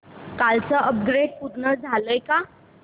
कालचं अपग्रेड पूर्ण झालंय का